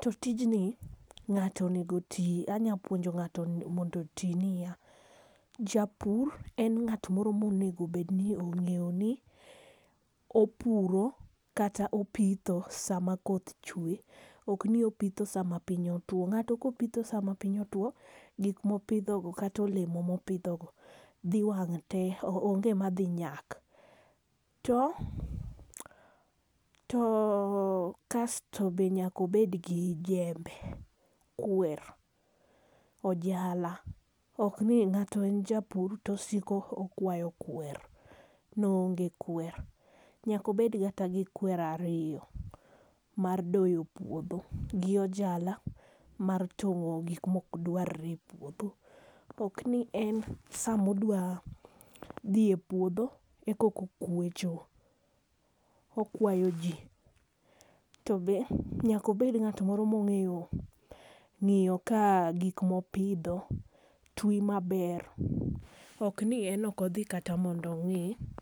To tijni ng'ato onego oti anya puonjo ng'ato mondo oti ni ya japur en ng'at moro ma onego obed ni ong'eyo ni opuro kata opitho saa ma koth chwe ok ni opitho saa ma piny otwo.Ng'ato ka opitho saa ma piny otwo gik ma opidho gi kata olemo ma opidho go dhi wang' tee onge ma dhi nyak .To ,to kasto onego obed gi jembe, kwer, ojala, ok ni ng'ato en japur to osiko okwayo kwer ni oonge kwer. Nyaka obed kata gi kwer ariyo mar doyo puodho gi ojala mar tong'o gik m ok dware e puodho. Ok ni en saa ma odwa dhi e puodho e koka okwecho, okwayo jji to be nyaka obed ng'at moro ma ongeyo ngiyo ka gik ma opidho twi ma ber ok ni en ok odhi kata mondo ong'i.